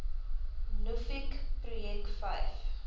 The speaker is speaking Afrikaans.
nuffic projek vyf